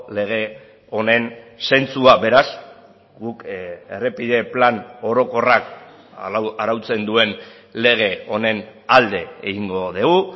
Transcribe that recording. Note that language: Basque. lege honen zentsua beraz guk errepide plan orokorrak arautzen duen lege honen alde egingo dugu